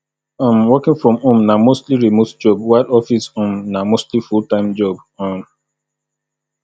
um working from home na mostly remote job while office um na mostly full time job um